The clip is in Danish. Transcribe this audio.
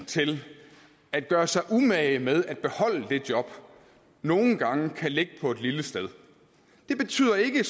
til at gøre sig umage med at beholde det job nogle gange kan ligge på et lille sted det betyder ikke